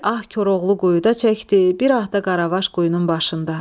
Bir ah Koroğlu quyudan çəkdi, bir ah da Qaravaş quyunun başında.